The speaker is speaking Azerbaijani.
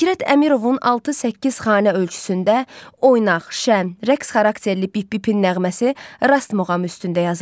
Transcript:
Fikrət Əmirovun 6-8 xanə ölçüsündə oynaq, şəm, rəqs xarakterli pip-pipin nəğməsi Rast muğam üstündə yazılıb.